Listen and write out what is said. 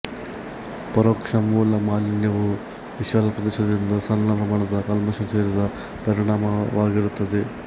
ಪರೋಕ್ಷ ಮೂಲ ಮಾಲಿನ್ಯವು ವಿಶಾಲ ಪ್ರದೇಶದಿಂದ ಸಣ್ಣ ಪ್ರಮಾಣದ ಕಲ್ಮಶ ಸೇರಿದ ಪರಿಣಾಮವಾಗಿರುತ್ತದೆ